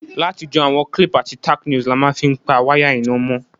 Látijọ́, àwon clip àti tacknails la ma n fi pa wire iná mó